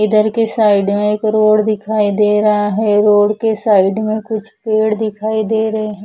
इधर के साइड में एक रोड दिखाई दे रहा है रोड के साइड में कुछ पेड़ दिखाई दे रहे है।